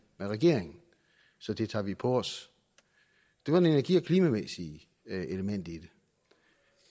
med regeringen så det tager vi på os det var det energi og klimamæssige element i